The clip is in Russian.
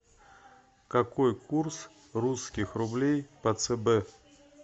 какой курс русских рублей по цб